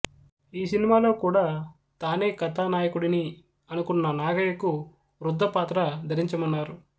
ఈ సినిమాలో కూడా తానే కథానాయకుడిని అనుకున్న నాగయ్యకు వృద్ధపాత్ర ధరించమన్నారు